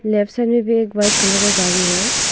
मे भी एक white colour का गाड़ी है।